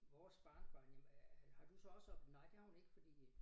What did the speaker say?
Vores barnebarn jamen øh har du så også op nej det har hun ikke fordi